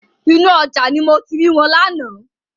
Inú ọjà ni mo ti ri wọn lánàá.